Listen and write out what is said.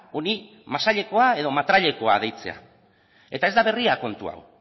honi masailekoa edo matrailekoa deitzea eta ez da berria kontu hau